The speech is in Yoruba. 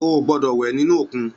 Ó gbòdò wè ninú ókún